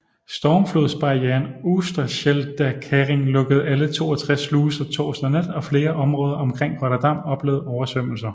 Stormflodsbarrieren Oosterscheldekering lukkede alle 62 sluser torsdag nat og flere områder omkring Rotterdam oplevede oversvømmelser